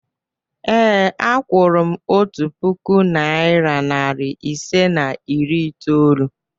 Ee, a kwụrụ m otu puku naịra nari ise na iri itoolu.